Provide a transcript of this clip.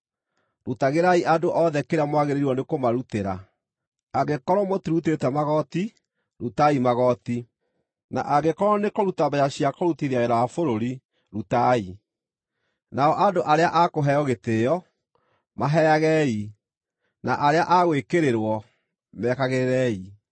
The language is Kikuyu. Rutagĩrai andũ othe kĩrĩa mwagĩrĩirwo nĩ kũmarutĩra: Angĩkorwo mũtirutĩte magooti, rutai magooti; na angĩkorwo nĩ kũruta mbeeca cia kũrutithia wĩra wa bũrũri, rutai; nao andũ arĩa a kũheo gĩtĩĩo, maheagei; na arĩa a gwĩkĩrĩrwo, mekagĩrĩrei.